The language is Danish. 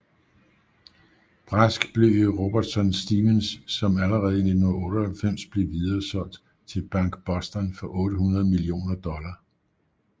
Brask blev i Robertson Stephens som allerede i 1998 blev videresolgt til BankBoston for 800 millioner dollar